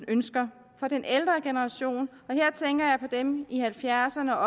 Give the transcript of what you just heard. ønsker den ældre generation og dem i halvfjerdserne og